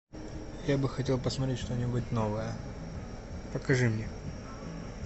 я бы хотел посмотреть что нибудь новое покажи мне